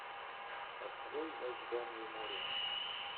открой в ожидании моря